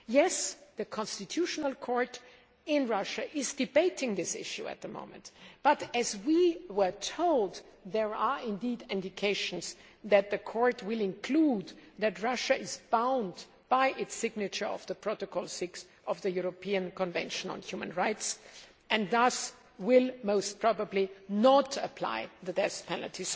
Yes, the constitutional court in Russia is debating this issue at the moment, but we were told that there are indications that the court will conclude that Russia is bound by its signature of Protocol 6 of the European Convention on Human Rights and thus, will most probably not apply the death penalty.